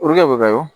bɛ ka